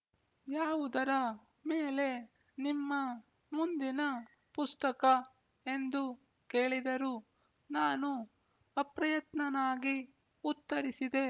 ಯಾವುದರ ಮೇಲೆ ನಿಮ್ಮ ಮುಂದಿನ ಪುಸ್ತಕ ಎಂದು ಕೇಳಿದರು ನಾನು ಅಪ್ರಯತ್ನನಾಗಿ ಉತ್ತರಿಸಿದೆ